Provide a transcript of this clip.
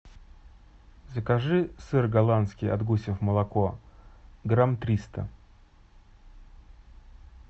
закажи сыр голландский от гусев молоко грамм триста